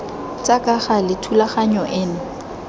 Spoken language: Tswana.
tsa ka gale thulaganyo eno